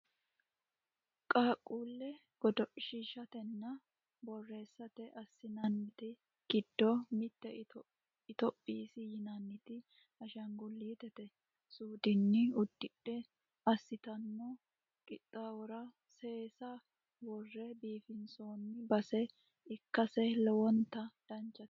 Qaaqquulle godoshiishatenna bohaarsate assinannite giddo mitte itophisi yinanniti ashaangullitete suudenni uddidhe assitanno qixxaawora seesa worre biifinsoonni base ikkase lowonta danchate